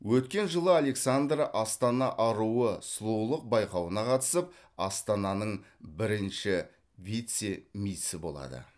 өткен жылы александра астана аруы сұлулық бауқауына қатысып астананың бірінші вице мисі болады